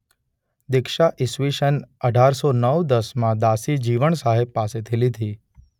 દીક્ષા ઇસવીસન અઢારસો નવ દસ માં દાસી જીવણ સાહેબ પાસેથી લીધી.